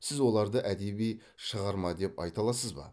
сіз оларды әдеби шығарма деп айта аласыз ба